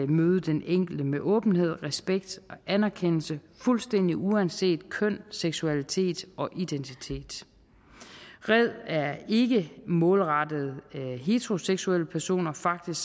møde den enkelte med åbenhed respekt og anerkendelse fuldstændig uanset køn seksualitet og identitet red er ikke målrettet heteroseksuelle personer faktisk